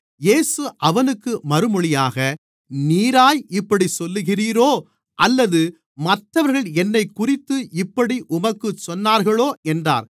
இயேசு அவனுக்கு மறுமொழியாக நீராய் இப்படிச் சொல்லுகிறீரோ அல்லது மற்றவர்கள் என்னைக்குறித்து இப்படி உமக்குச் சொன்னார்களோ என்றார்